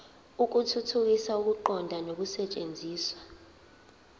ukuthuthukisa ukuqonda nokusetshenziswa